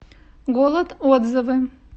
голод отзывы